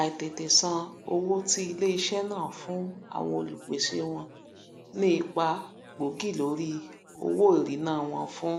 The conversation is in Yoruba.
àìlètètè sàn owó ti iléisẹ náà fún àwọn olùpèsè wọn ní ipa gbóògì lórí owó ìríná wọn fún